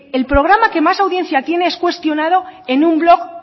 el programa que más audiencia tiene es cuestionado en un blog